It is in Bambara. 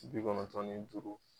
Bi kɔnɔntɔn ni duuru